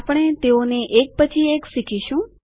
આપણે તેઓને એક પછી એક શીખીશું